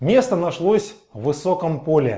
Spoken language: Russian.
место нашлось в высоком поле